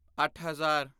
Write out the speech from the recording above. ਅੱਠ ਹਜ਼ਾਰ